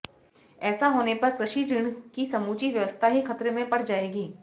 ऐसा होने पर कृषि ऋण की समूची व्यवस्था ही खतरे में पड़ जाएगी